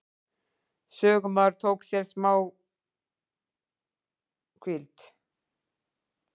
Sögumaður tók sér málhvíld.